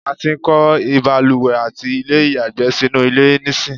a ti ń kọ́ ìbalùwẹ̀ àti ilé ìyàgbẹ́ sínú ilé nísìń